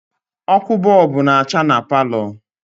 Ọkụ bọọbụ na-acha na palọ